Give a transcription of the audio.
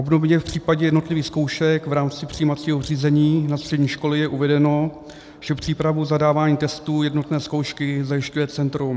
Obdobně v případě jednotlivých zkoušek v rámci přijímacího řízení na střední školy je uvedeno, že přípravu zadávání testů jednotné zkoušky zajišťuje Centrum.